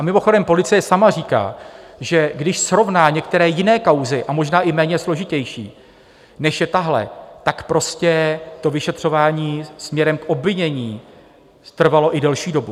A mimochodem, policie sama říká, že když srovná některé jiné kauzy, a možná i méně složitější, než je tahle, tak prostě to vyšetřování směrem k obvinění trvalo i delší dobu.